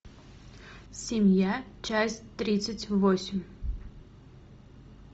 семья часть тридцать восемь